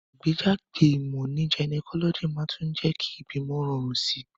Ìgbéjáde ìmò ní gynecology màá tún jé kí ìbímo rorùn sí